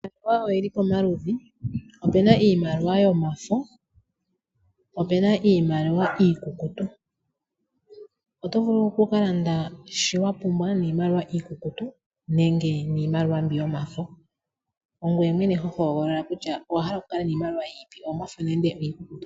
Iimaliwa oyi li pamaludhi. Opu na iimaliwa yomafo, ope na iimaliwa iikukutu. Oto vulu oku ka landa shono wa pumbwa niimaliwa iikukutu nenge niimaliwa mbi yomafo. Ongoye mwene ho hogolola kutya owa hala okukala niimaliwa yiipi, oyomafo nenge iikukutu.